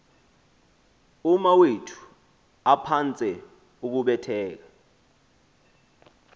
umawethu aphantse ukubetheka